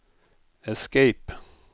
escape